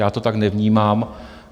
Já to tak nevnímám.